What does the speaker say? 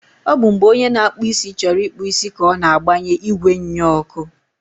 ọ bụ mgbe onye na-akpụ isi chọrọ ịkpụ isi ka ọ na-agbanye igwe nnyeọkụ.